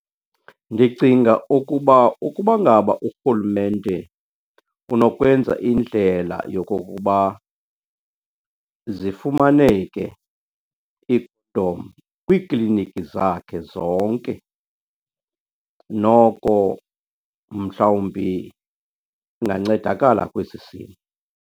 Ndicinga ukuba ukuba ngaba urhulumente unokwenza indlela yokokuba zifumaneke kwiikliniki zakhe zonke, noko mhlawumbi kungancedakala kwesi .